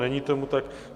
Není tomu tak.